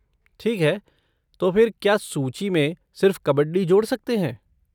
ठीक है, तो फिर क्या सूची में सिर्फ़ कबड्डी जोड़ सकते हैं?